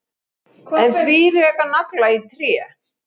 En því reka nagla í tré?